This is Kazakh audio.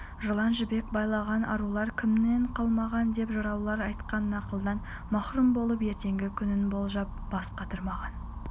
жалаң жібек байлаған арулар кімнен қалмаған деп жыраулар айтқан нақылдан махрұм болып ертеңгі күнін болжап бас қатырмаған